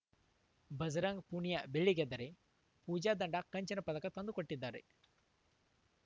ಭಜರಂಗ್‌ ಪೂನಿಯಾ ಬೆಳ್ಳಿ ಗೆದ್ದರೆ ಪೂಜಾ ಧಂಡಾ ಕಂಚಿನ ಪದಕ ತಂದುಕೊಟ್ಟಿದ್ದಾರೆ